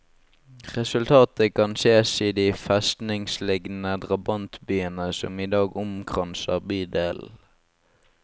Resultatet kan ses i de festningslignende drabantbyene som i dag omkranser bydelen.